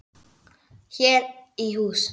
Hér í hús